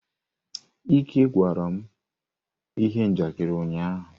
Ike gwara m ihe njakịrị ụnyaahụ.